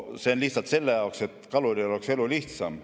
See on lihtsalt selle jaoks, et kaluril oleks elu lihtsam.